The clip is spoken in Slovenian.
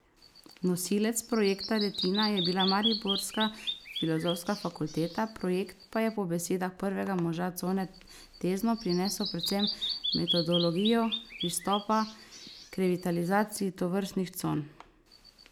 Nosilec projekta Retina je bila mariborska filozofska fakulteta, projekt pa je po besedah prvega moža cone Tezno prinesel predvsem metodologijo pristopa k revitalizaciji tovrstnih con.